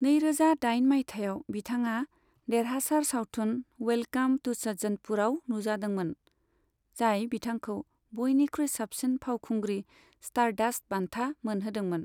नैरोजा दाइन मायथाइयाव, बिथाङा देरहासार सावथुन वेलकाम टू सज्जनपुरआव नुजादोंमोन, जाय बिथांखौ बयनिख्रुइ साबसिन फावखुंग्रि स्टारडास्ट बान्था मोनहोदोंमोन।